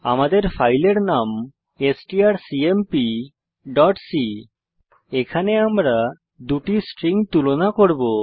আমাদের ফাইলের নাম strcmpসি এখানে দুটি স্ট্রিং তুলনা করব